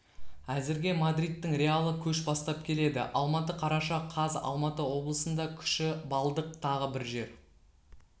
әзірге мадридтің реалы көш бастап келеді алматы қараша қаз алматы облысында күші баллдық тағы бір жер